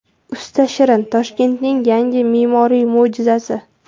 Usta Shirin: Toshkentning yangi me’moriy mo‘jizasi.